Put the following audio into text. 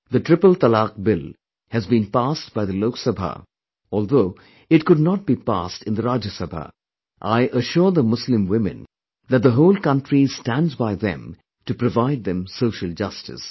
The Triple Talaq Bill has been passed by the Lok Sabha although it could not be passed in the Rajya Sabha, I assure the Muslim women that the whole country stands by them to provide them social justice